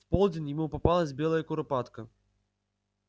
в полдень ему попалась белая куропатка